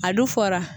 A du fɔra